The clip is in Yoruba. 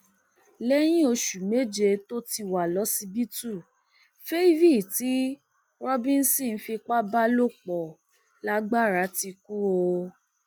lẹyìn oṣù méje tó ti wà lọsibítù favy tí robinson fipá bá lò pọ lagbára ti kú o